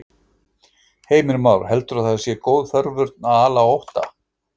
Heimir Már: Heldurðu að það sé góð forvörn að, að ala á ótta?